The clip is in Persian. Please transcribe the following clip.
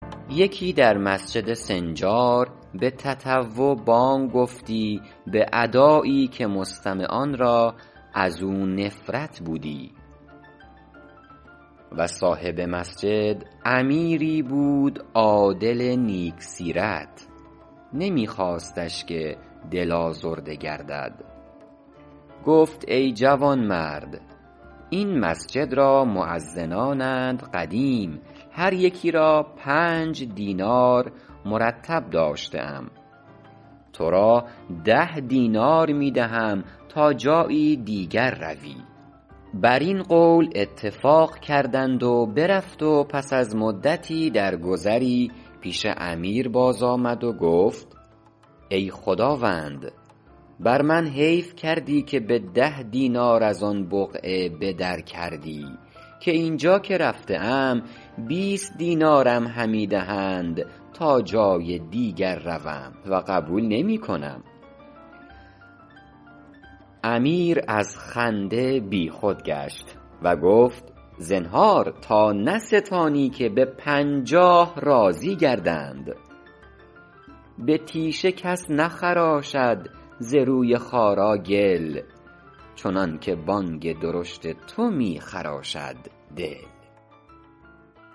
یکی در مسجد سنجار به تطوع بانگ گفتی به ادایی که مستمعان را از او نفرت بودی و صاحب مسجد امیری بود عادل نیک سیرت نمی خواستش که دل آزرده گردد گفت ای جوانمرد این مسجد را مؤذنانند قدیم هر یکی را پنج دینار مرتب داشته ام تو را ده دینار می دهم تا جایی دیگر روی بر این قول اتفاق کردند و برفت پس از مدتی در گذری پیش امیر باز آمد گفت ای خداوند بر من حیف کردی که به ده دینار از آن بقعه به در کردی که این جا که رفته ام بیست دینارم همی دهند تا جای دیگر روم و قبول نمی کنم امیر از خنده بی خود گشت و گفت زنهار تا نستانی که به پنجاه راضی گردند به تیشه کس نخراشد ز روی خارا گل چنان که بانگ درشت تو می خراشد دل